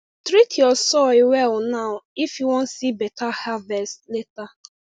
treat your soil well now if you wan see better harvest later